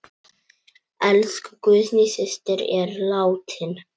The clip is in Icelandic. Elsku Guðný systir er látin.